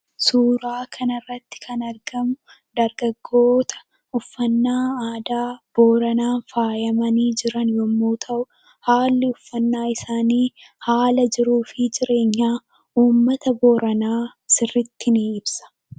Suuraa kanarratti kan argamu, dargaggoota uffanna aadaa booranana faayyamani jiran yemmu ta'u, haallii uffanna isaani haala jiruu fi jireenya uummata booraana sirritti ni ibsa.